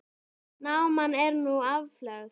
Náman er nú aflögð.